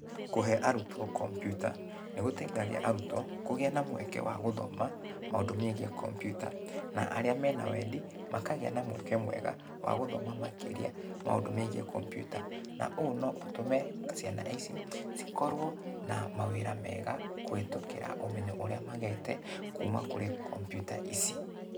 Kũhe arutwo computer, nĩgũteithagia arutwo kũgĩa na mweke wa gũthoma, maũndũ megie computer, na arĩa mena wendi, makagĩa na mweke mwega, wa gũthoma makĩria maũndũ megie computer. Na ũũ no ũtũme, ciana ici, cikorũo, na mawĩra mega, kũhĩtũkĩra ũmenyo ũrĩa magĩte kuuma kũrĩ computer ici.